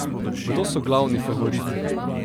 Kdo so glavni favoriti?